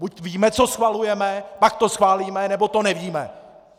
Buď víme, co schvalujeme, pak to schválíme, nebo to nevíme!